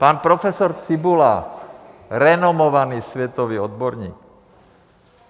Pan profesor Cibula, renomovaný světový odborník.